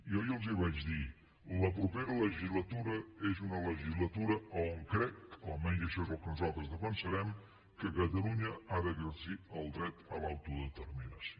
jo ja els ho vaig dir la propera legislatura és una legislatura a on crec almenys això és el que nosaltres defensarem que catalunya ha d’exercir el dret a l’autodeterminació